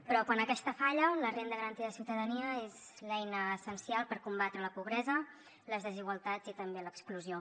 però quan aquest falla la renda garantida de ciutadania és l’eina essencial per combatre la pobresa les desigualtats i també l’exclusió